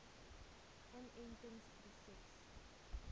inentingproses